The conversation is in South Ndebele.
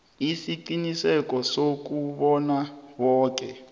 isiqiniseko sokobana boke